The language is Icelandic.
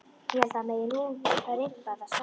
Ég held að það megi nú rimpa það saman.